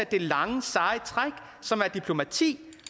det lange seje træk som er diplomati